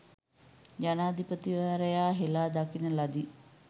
ජනාධිපතිවරයා හෙලා දකින ලදි.